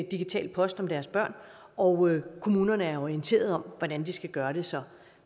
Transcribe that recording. digital post om deres børn og kommunerne er orienteret om hvordan de skal gøre det så